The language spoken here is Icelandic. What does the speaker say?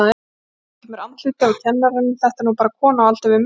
Hérna kemur andlitið á kennaranum, þetta er nú bara kona á aldur við mig.